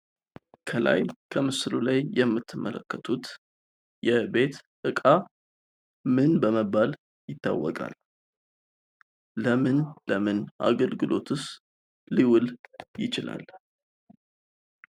ከላይ በምስሉ ላይ የምትመለከቱት የቤት እቃ ምን በመባል ይታወቃል? ለምን ለምን አገልግሎትስ ሊውል ይችላል?